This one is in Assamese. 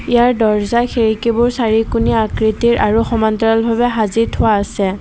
ইয়াৰ দৰ্জা খিৰিকীবোৰ চাৰিকোণীয়া আকৃতিৰ আৰু সমান্তৰাল ভাৱে সাজি থোৱা আছে।